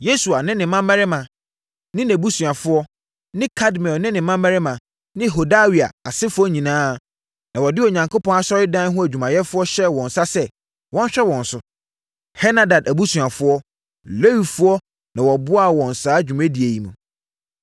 Yesua ne ne mmammarima ne nʼabusuafoɔ ne Kadmiel ne ne mmammarima ne Hodawia asefoɔ nyinaa na wɔde Onyankopɔn asɔredan ho adwumayɛfoɔ hyɛɛ wɔn nsa sɛ, wɔnhwɛ wɔn so. Henadad abusuafoɔ Lewifoɔ na wɔboaa wɔn saa dwumadie yi mu.